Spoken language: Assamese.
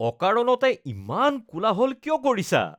অকাৰণতে ইমান কোলাহল কিয় কৰিছা?